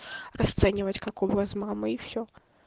расценивать как у вас с мамой и все